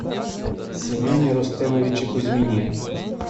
семене рустемовиче кузьмине